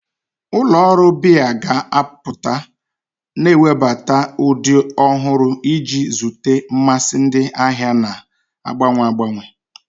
Ụlọ ọrụ biya ga-apụta, na-ewebata ụdị ọhụrụ iji zute mmasị ndị ahịa na-agbanwe agbanwe.